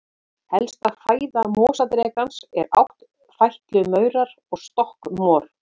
Helsta fæða mosadrekans eru áttfætlumaurar og stökkmor.